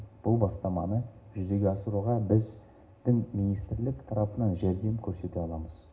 бұл бастаманы жүзеге асыруға біз дін министрлік тарапынан жәрдем көрсете аламыз